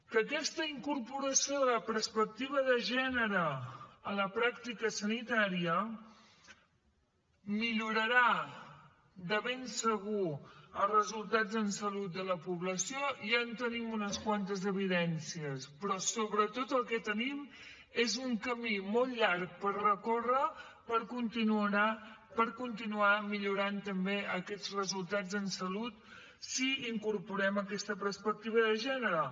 que aquesta incorporació de la perspectiva de gènere a la pràctica sanitària millorarà de ben segur els resultats en salut de la població ja en tenim unes quantes evidències però sobretot el que tenim és un camí molt llarg per recórrer per continuar millorant també aquests resultats en salut si incorporem aquesta perspectiva de gènere